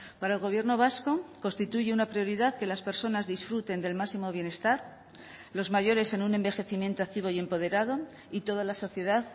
para el gobierno vasco constituye una prioridad que las personas disfruten del máximo bienestar los mayores en un envejecimiento activo y empoderado y toda la sociedad